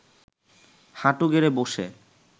হাঁটু গেড়ে বসে